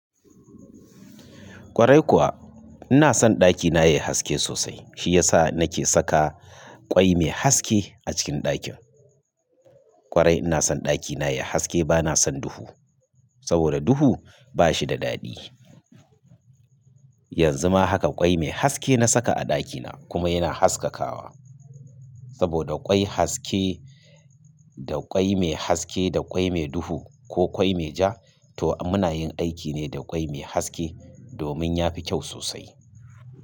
Kwarai kuwa ina son ɗakina yayi haske sosai. Shi yasa nake saka ƙwai mai haske a cikin ɗakin. Kwarai ina son ɗakina yayi haske bana son duhu. Saboda duhu bashi da daɗi. Yanzu ma haka ƙwai mai haske na saka a ɗakina kuma yana haskakawa. Saboda ƙwai haske da ƙwai mai haske da ƙwai mai duhu ko ƙwai mai ja to muna yin aiki ne da ƙwai mai haske domin yafi kyau sosai.